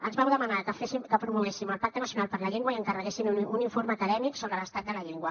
ens vau demanar que promoguéssim el pacte nacional per la llengua i encarreguéssim un informe acadèmic sobre l’estat de la llengua